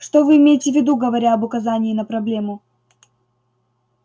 что вы имеете в виду говоря об указании на проблему